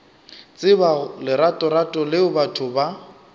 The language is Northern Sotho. tseba leratorato leo batho ba